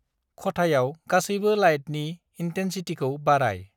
खथायाव गासैबो लाइटनि इन्टेनसितिखौ बारायI